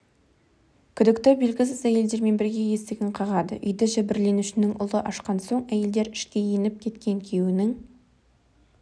күдікті белгісіз әйелдермен бірге есігін қағады үйді жәбірленушінің ұлы ашқан соң әйелдер ішке еніп кеткен күйеуінің